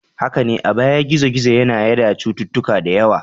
Haka ne, a baya gizo-gizo yana yada cututtuka da yawa.